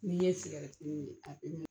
N'i ye sigɛrɛti min a